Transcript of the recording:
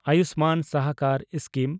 ᱟᱭᱩᱥᱢᱟᱱ ᱥᱟᱦᱟᱠᱟᱨ ᱥᱠᱤᱢ